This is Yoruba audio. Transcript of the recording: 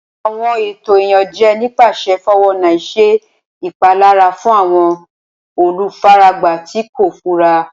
Awọn eto Iyanjẹ nipasẹ 419 ṣe ipalara fun awọn olufaragba ti ko fura.